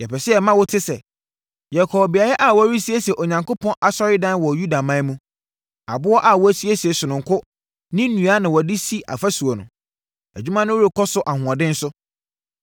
Yɛpɛ sɛ yɛma wote sɛ, yɛkɔɔ beaeɛ a wɔresiesie Onyankopɔn asɔredan no wɔ Yudaman mu. Aboɔ a wɔasiesie sononko ne nnua na wɔde resi afasuo no. Adwuma no rekɔ so ahoɔden so.